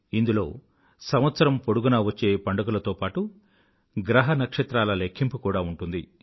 ఇందులో సంవత్సరం పొడుగునా వచ్చే పండుగలతో పాటూ గ్రహ నక్షత్రాల లెఖ్ఖింపు కూడా ఉంటుంది